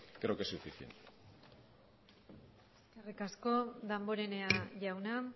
creo que es suficiente eskerrik asko damborenea jauna